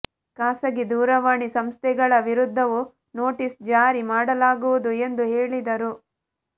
ಖಾಸಗಿ ದೂರವಾಣಿ ಸಂಸ್ಥೆಗಳ ವಿರುದ್ಧವೂ ನೋಟೀಸ್ ಜಾರಿ ಮಾಡಲಾಗುವುದು ಎಂದು ಹೇಳಿದರು